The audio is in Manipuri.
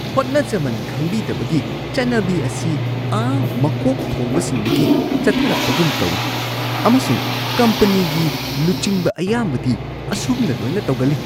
ꯍꯣꯠꯅꯖꯃꯟ ꯈꯪꯕꯤꯗꯕꯒꯤ ꯆꯠꯅꯕꯤ ꯑꯁꯤ ꯑꯥ ꯃꯀꯣꯛ ꯊꯣꯡꯕꯁꯤꯡꯗꯒꯤ ꯆꯠꯊꯔꯛꯄꯒꯨꯝ ꯇꯧꯋꯤ ꯑꯃꯁꯨꯡ ꯀꯝꯄꯅꯤꯒꯤ ꯂꯨꯆꯤꯡꯕ ꯑꯌꯥꯝꯕꯗꯤ ꯑꯁꯨꯝꯅ ꯂꯣꯏꯅ ꯇꯧꯒꯜꯂꯤ ꯫